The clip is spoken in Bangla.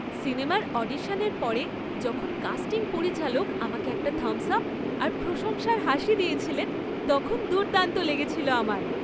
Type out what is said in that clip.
সিনেমার অডিশনের পরে যখন কাস্টিং পরিচালক আমাকে একটা থাম্বস আপ আর প্রশংসার হাসি দিয়েছিলেন, তখন দুর্দান্ত লেগেছিল আমার।